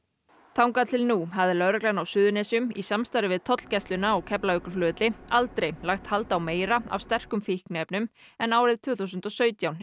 þangað til nú hafði lögreglan á Suðurnesjum í samstarfi við tollgæsluna á Keflavíkurflugvelli aldrei lagt hald á meira af sterkum fíkniefnum en árið tvö þúsund og sautján